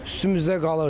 Üstümüzə qalır.